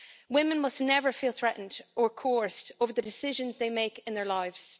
Women must never feel threatened or coerced over the decisions they make in their lives.